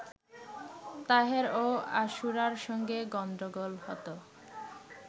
তাহের ও আশুরার সঙ্গে গণ্ডগোল হতো